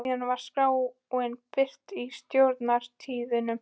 Síðan var skráin birt í Stjórnar- tíðindum.